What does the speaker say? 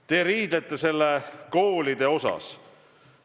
Te riidlete, et pole koole puudutavat otsust.